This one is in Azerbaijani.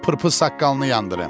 Sənin o pırpız saqqalını yandıraram.